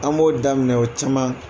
An b'o daminɛ o caman